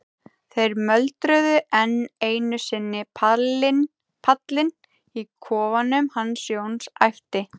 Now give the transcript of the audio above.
þeir mölbrutu enn einu sinni pallinn í kofanum hans Jóns, æpti